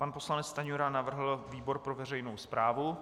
Pan poslanec Stanjura navrhl výbor pro veřejnou správu.